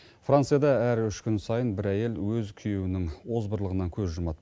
францияда әр үш күн сайын бір әйел өз күйеуінің озбырлығынан көз жұмады